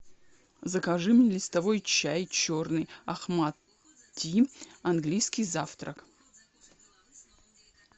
закажи мне листовой чай черный ахмат ти английский завтрак